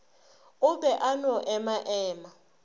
o be a no emaema